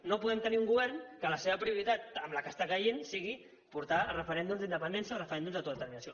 no podem tenir un govern que la seva prioritat amb la que està caient sigui portar a referèndums d’independència o a referèndums d’autodeterminació